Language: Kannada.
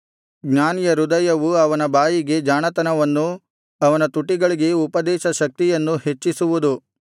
ಜ್ಞಾನಿಯ ಹೃದಯವು ಅವನ ಬಾಯಿಗೆ ಜಾಣತನವನ್ನೂ ಅವನ ತುಟಿಗಳಿಗೆ ಉಪದೇಶ ಶಕ್ತಿಯನ್ನೂ ಹೆಚ್ಚಿಸುವುದು